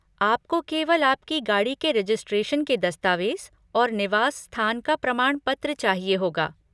आपको केवल आपकी गाड़ी के रेजिस्ट्रेशन के दस्तावेज और निवास स्थान का प्रमाण पत्र चाहिए होगा।